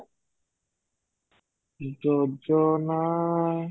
ଯୋଜନା